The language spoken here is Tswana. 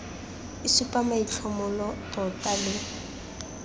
e supa maitlhomo tota le